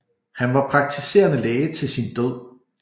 Han var praktiserende læge til sin død